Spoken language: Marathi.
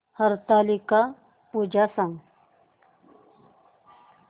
हरतालिका पूजा सांग